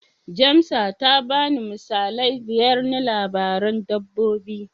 Jamsa ta bani misalai biyar na labaran dabbobi.